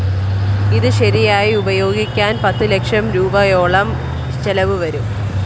ഇത്‌ ശെരിയാക്കി ഉപയോഗിക്കാന്‍ പത്തു ലക്ഷം രൂപയോളം ചെലവു വരും